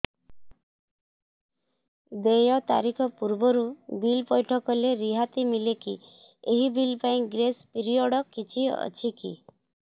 ଦେୟ ତାରିଖ ପୂର୍ବରୁ ବିଲ୍ ପୈଠ କଲେ ରିହାତି ମିଲେକି ଏହି ବିଲ୍ ପାଇଁ ଗ୍ରେସ୍ ପିରିୟଡ଼ କିଛି ଅଛିକି